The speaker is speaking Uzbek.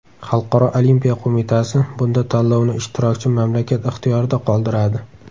Xalqaro Olimpiya Qo‘mitasi bunda tanlovni ishtirokchi mamlakat ixtiyorida qoldiradi.